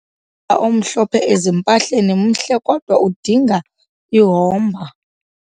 ala omhlophe ezimpahleni mhle kodwa udinga ihomba.